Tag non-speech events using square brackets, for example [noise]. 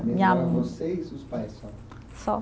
Minha. [unintelligible] Vocês, os pais, só? Só